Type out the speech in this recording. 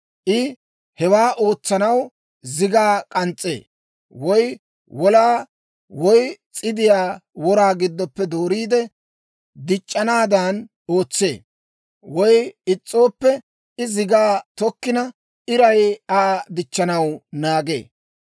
I hewaa ootsanaw zigaa k'ans's'ee; woy wolaa woy s'idiyaa wora giddoppe dooriide dic'c'anaadan ootsee. Woy is's'ooppe, I zigaa tokkina, iray Aa dichchanaw naagee.